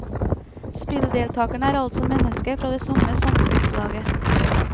Spilldeltakerene er altså mennesker fra det samme samfunnslaget.